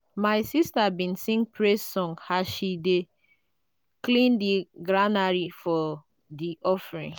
my sister been sing praise song as she been dey clean di granary for di offering.